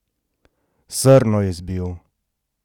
Srno je zbil!